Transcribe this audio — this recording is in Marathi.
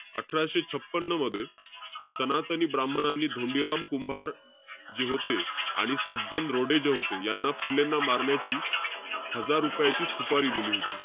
अठराशे छपन्न मध्ये, सनातनी ब्राम्हणांनी धोंडीराम कुंभार, जे होते. आणि सज्जन रोडे जे होते, यांना फुलेंना मारण्याची हजार रुपयाची सुपारी दिली होती.